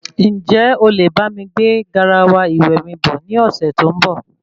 Njẹ olè bámi gbé garawa ìwẹ̀ mi bọ̀ ní ọsẹ tó n bọ?